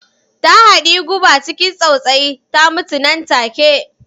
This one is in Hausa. Ta haɗiyi guba ciki tsautsayi, ta mutu nan take.